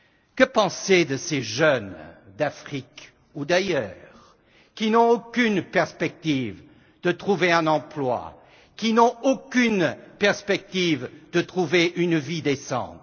Que penser de ces jeunes d'Afrique ou d'ailleurs qui n'ont aucune perspective de trouver un emploi, qui n'ont aucune perspective d'avoir une vie décente?